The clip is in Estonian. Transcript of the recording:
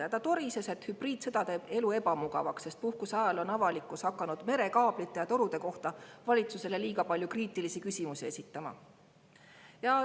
Ja ta torises, et hübriidsõda teeb elu ebamugavaks, sest puhkuse ajal on avalikkus hakanud merekaablite ja torude kohta valitsusele liiga palju kriitilisi küsimusi esitama.